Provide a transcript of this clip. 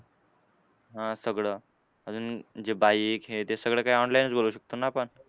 हां सगळं अजून जे bike हे ते सगळं काय online च बोलवू शकतो ना आपण.